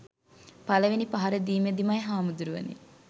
පළවෙනි පහර දීමෙදිමයි හාමුදුරුවනේ.